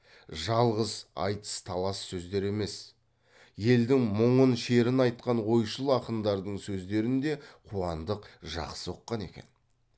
жалғыз айтыс талас сөздер емес елдің мұңын шерін айтқан ойшыл ақындардың сөздерін де қуандық жақсы ұққан екен